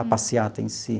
A passeata em si.